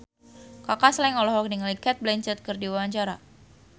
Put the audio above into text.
Kaka Slank olohok ningali Cate Blanchett keur diwawancara